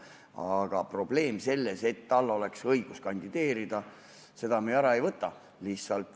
Aga probleemi, et tal peaks olema õigus kandideerida, me ära ei võta.